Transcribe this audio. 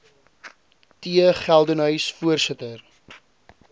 t geldenhuys voorsitter